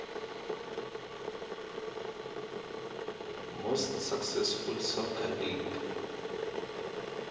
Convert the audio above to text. most successful soccer league